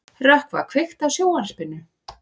Rökkva, kveiktu á sjónvarpinu.